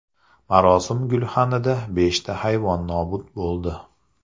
Marosim gulxanida beshta hayvon nobud bo‘ldi.